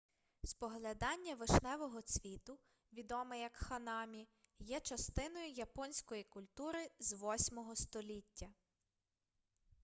споглядання вишневого цвіту відоме як ханамі є частиною японської культури з 8-го століття